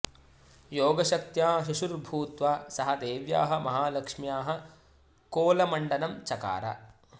योगशक्त्या शिशुः भूत्वा सः देव्याः महालक्ष्म्याः कोलमण्डनं चकार